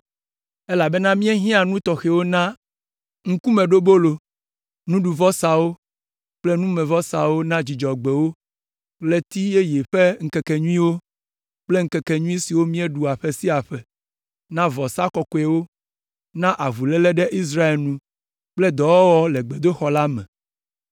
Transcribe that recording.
elabena míehiã nu tɔxɛwo na Ŋkumeɖobolo, nuɖuvɔsawo kple numevɔsawo na Dzudzɔgbewo, Ɣleti yeye ƒe ŋkekenyuiwo kple Ŋkekenyui siwo míeɖuna ƒe sia ƒe, na vɔsa kɔkɔewo, na avuléle ɖe Israel nu kple dɔwɔwɔ le gbedoxɔ la me.